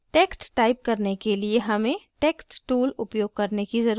text type करने के लिए हमें text tool उपयोग करने की जरूरत है